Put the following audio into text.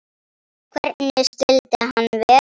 Hvernig skyldi hann vera?